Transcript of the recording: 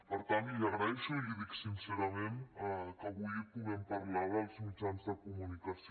per tant li agraeixo i l’hi dic sincerament que avui puguem parlar dels mitjans de comunicació